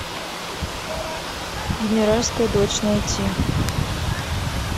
генеральская дочь найти